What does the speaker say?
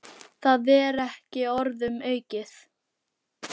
Það er ekki orðum aukið.